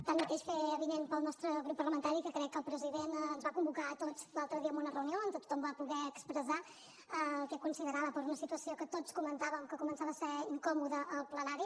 tanmateix fer avinent pel nostre grup parlamentari que crec que el president ens va convocar a tots l’altre dia en una reunió on tothom va poder expressar el que considerava per una situació que tots comentàvem que començava a ser incòmoda al plenari